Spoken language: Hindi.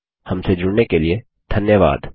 हमसे जुड़ने के लिए धन्यवाद